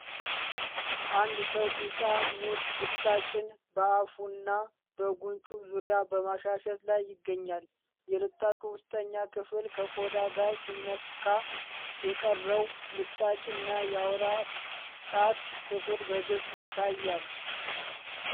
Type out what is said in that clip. አንድ ሰው ቢጫ ሙዝ ልጣጭን በአፉና በጉንጩ ዙሪያ በማሻሸት ላይ ይገኛል። የልጣጩ ውስጠኛ ክፍል ከቆዳ ጋር ሲነካ፣ የቀረው ልጣጭ እና የአውራ ጣት ክፍል በግልጽ ይታያል።